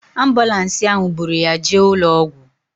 Ambụlansi bụrụ ya jee ụlọ ọgwụ